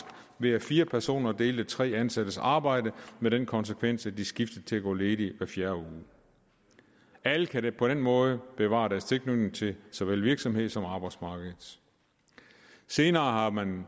ved at fire personer delte tre ansattes arbejde med den konsekvens at de skiftedes til at gå ledig hver fjerde uge alle kan på den måde bevare deres tilknytning til såvel virksomhed som arbejdsmarked senere har man